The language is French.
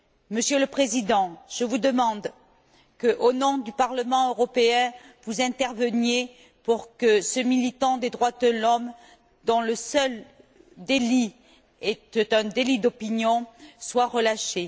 Monsieur le Président, je vous demande qu'au nom du Parlement européen vous interveniez pour que ce militant des droits de l'homme, dont le seul délit est un délit d'opinion, soit relâché.